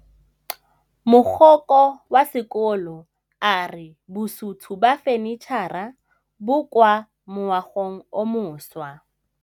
Mogokgo wa sekolo a re bosutô ba fanitšhara bo kwa moagong o mošwa.